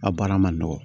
A baara ma nɔgɔ